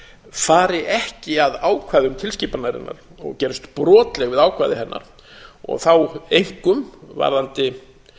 fari ekki að ákvæðum tilskipunarinnar og gerist brotleg við ákvæði hennar og þá einkum varðandi